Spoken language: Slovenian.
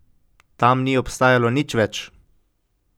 Tam ni obstajalo nič več.